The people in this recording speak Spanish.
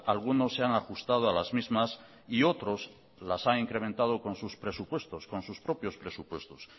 algunos se han ajustado a las mismas y otros las han incrementado con sus presupuestos con sus propios presupuestos